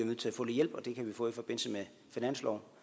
nødt til at få lidt hjælp og det kan vi få i forbindelse med finansloven